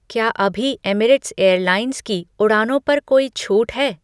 क्या अभी Emirates airlines की उड़ानों पर कोई छूट है?